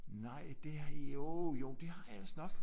Nej det jo jo det har jeg vist nok